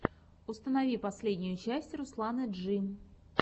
установи последнюю часть русланы джии